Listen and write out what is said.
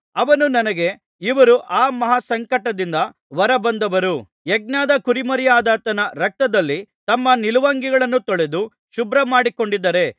ಅವನು ನನಗೆ ಇವರು ಆ ಮಹಾಸಂಕಟದಿಂದ ಹೊರಬಂದವರು ಯಜ್ಞದ ಕುರಿಮರಿಯಾದಾತನ ರಕ್ತದಲ್ಲಿ ತಮ್ಮ ನಿಲುವಂಗಿಗಳನ್ನು ತೊಳೆದು ಶುಭ್ರಮಾಡಿಕೊಂಡಿದ್ದಾರೆ